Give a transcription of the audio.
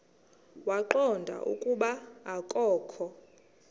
waqonda ukuba akokho